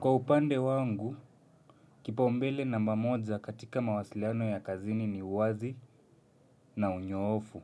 Kwa upande wangu, kipaumbele namba moja katika mawasiliano ya kazini ni uwazi na unyoofu.